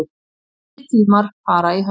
Nýir tímar fara í hönd